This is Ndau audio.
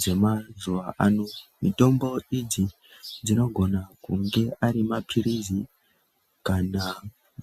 dzemazuva ano. Mitombo idzi dzinogona kunge arima pirizi kana